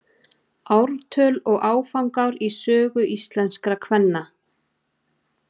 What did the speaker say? ártöl og áfangar í sögu íslenskra kvenna